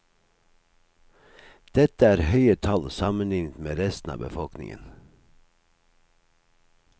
Dette er høye tall sammenlignet med resten av befolkningen.